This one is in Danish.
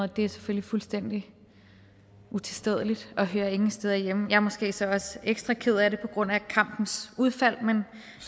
det er selvfølgelig fuldstændig utilstedeligt og hører ingen steder hjemme jeg er måske så også ekstra ked af det på grund af kampens udfald men